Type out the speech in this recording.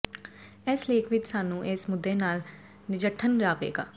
ਇਸ ਲੇਖ ਵਿਚ ਸਾਨੂੰ ਇਸ ਮੁੱਦੇ ਨਾਲ ਨਜਿੱਠਣ ਜਾਵੇਗਾ